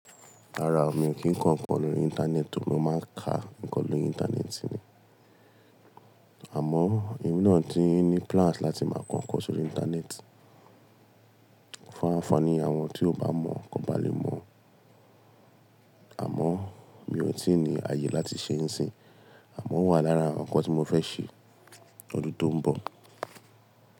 Rara ó mi ò kí ń kọ́ ǹkan lórí Íńtánẹ́ẹ̀tì ó mò máa ń ka nǹkan lórí Íńtánẹ́ẹ̀tì ni. Àmọ́, èmi náà ti ní plàǹs láti máa kọ́ ǹkan sórí Íńtánẹ́ẹ̀tì. Fún anfaa ni àwọn tí ò bá mọ̀ kò bá lè mọ̀. Àmọ́, mi ò tí ì ní ayé láti ṣe ń sìn. Àmọ́, ó wà lára ǹkan tí mo fẹ́ ṣe lọdún tó ń bọ̀.